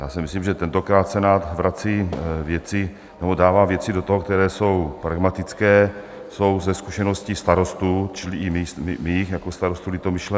Já si myslím, že tentokrát Senát vrací věci nebo dává věci do toho, které jsou pragmatické, jsou ze zkušeností starostů, čili i mých jako starosty Litomyšle.